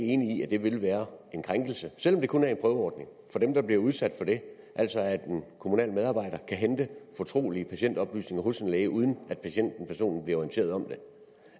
enig i at det ville være en krænkelse selv om det kun er en prøveordning af dem der bliver udsat for det altså at en kommunal medarbejder kan hente fortrolige patientoplysninger hos en læge uden at patienten personligt orienteret om det